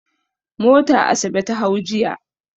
Mota Asabe ta hau jiya.